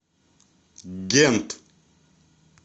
гент